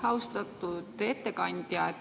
Austatud ettekandja!